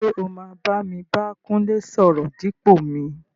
ṣé o máa bámi bá Kúnlé sọ̀rọ̀ dípò mi?